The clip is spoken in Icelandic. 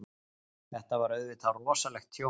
Þetta var auðvitað rosalegt tjón.